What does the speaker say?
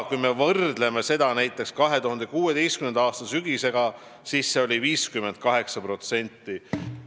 Kui me võrdleme seda näiteks 2016. aasta sügisega, siis tollal oli see 58%.